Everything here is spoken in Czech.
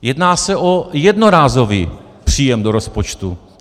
Jedná se o jednorázový příjem do rozpočtu.